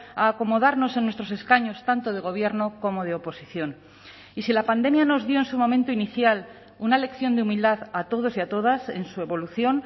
a acomodarnos en nuestros escaños tanto de gobierno como de oposición y si la pandemia nos dio en su momento inicial una lección de humildad a todos y a todas en su evolución